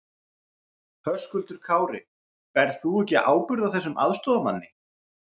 Höskuldur Kári: Berð þú ekki ábyrgð á þessum aðstoðarmanni?